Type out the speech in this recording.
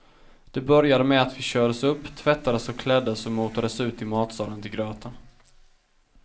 Det började med att vi kördes upp, tvättades och kläddes och motades ut i matsalen till gröten.